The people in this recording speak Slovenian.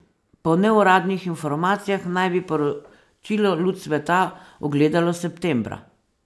Po neuradnih informacijah naj bi poročilo luč sveta ugledalo septembra.